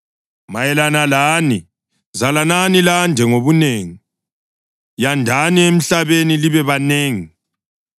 Mayelana lani, zalanani lande ngobunengi; yandani emhlabeni libe banengi.”